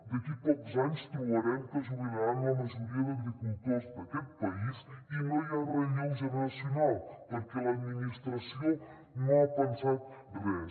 d’aquí pocs anys trobarem que es jubilaran la majoria d’agricultors d’aquest país i no hi ha relleu generacional perquè l’administració no ha pensat res